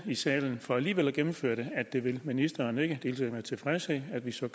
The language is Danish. salen for alligevel at gennemføre det at det vil ministeren ikke hilser det med tilfredshed at vi så